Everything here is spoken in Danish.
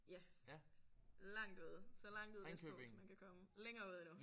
Ja. Langt ude så langt ud vestpå som man kan komme længere ude endnu